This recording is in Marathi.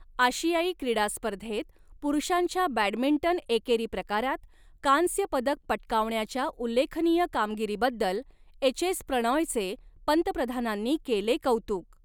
आशियाई क्रीडा स्पर्धेत पुरुषांच्या बॅडमिंटन एकेरी प्रकारात कांस्यपदक पटकावण्याच्या उल्लेखनीय कामगिरीबद्दल एचएस प्रणॉयचे पंतप्रधानांनी केले कौतुक